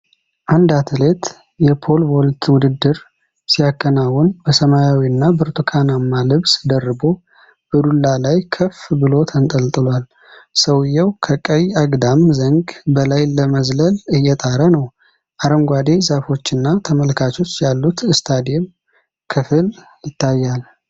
አንድ አትሌት የፖል ቮልት ውድድር ሲያከናውን በሰማያዊና ብርቱካንማ ልብስ ደርቦ በዱላ ላይ ከፍ ብሎ ተንጠልጥሏል። ሰውዬው ከቀይ አግድም ዘንግ በላይ ለመዝለል እየጣረ ነው። ፣ አረንጓዴ ዛፎችና ተመልካቾች ያሉት ስታዲየም ክፍል ይታያል